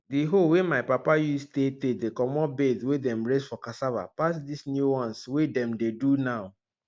di hoe wey my papa use tey tey dey comot bed wey dem raise for cassava pass dis new ones wey dem dey do now